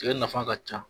Tigɛ nafa ka ca